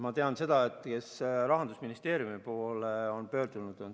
Ma tean seda, kes on Rahandusministeeriumi poole pöördunud.